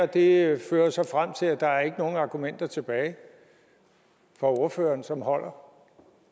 det fører så frem til at der ikke er nogen argumenter tilbage fra ordførerens side som holder